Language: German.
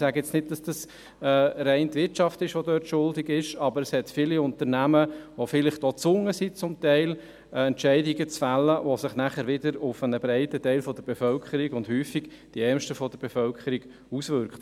Ich sage jetzt nicht, dass allein die Wirtschaft daran schuld ist, aber es gibt viele Unternehmen, die vielleicht teilweise auch gezwungen sind, Entscheide zu treffen, die sich wieder auf einen breiten Teil, und häufig auf die Ärmsten der Bevölkerung, auswirken.